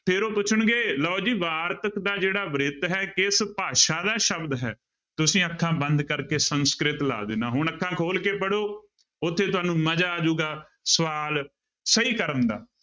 ਫਿਰ ਉਹ ਪੁੱਛਣਗੇ ਲਓ ਜੀ ਵਾਰਤਕ ਦਾ ਜਿਹੜਾ ਬ੍ਰਿਤ ਹੈ ਕਿਸ ਭਾਸ਼ਾ ਦਾ ਸ਼ਬਦ ਹੈ, ਤੁਸੀਂ ਅੱਖਾਂ ਬੰਦ ਕਰਕੇ ਸੰਸਕ੍ਰਿਤ ਲਾ ਦੇਣਾ, ਹੁਣ ਅੱਖਾਂ ਖੋਲ ਕੇ ਪੜ੍ਹੋ, ਉੱਥੇ ਤੁਹਾਨੂੰ ਮਜ਼ਾ ਆ ਜਾਊਗਾ ਸਵਾਲ ਸਹੀ ਕਰਨ ਦਾ।